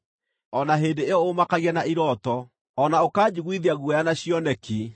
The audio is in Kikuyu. o na hĩndĩ ĩyo ũũmakagia na irooto, o na ũkanjiguithia guoya na cioneki,